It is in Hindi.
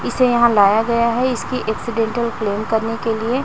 इसे यहां लाया गया है इसकी एक्सीडेंटल क्लेम करने के लिए।